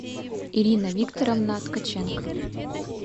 ирина викторовна ткаченко